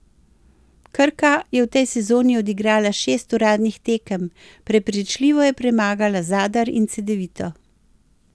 Krka je v tej sezoni odigrala šest uradnih tekem, prepričljivo je premagala Zadar in Cedevito.